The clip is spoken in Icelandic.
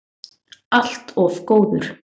Allt of góður.